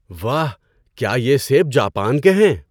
واہ! کیا یہ سیب جاپان کے ہیں؟